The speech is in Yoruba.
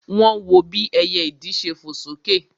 Wọ́n wọ bí ẹyẹ ìdì ṣe fò sókè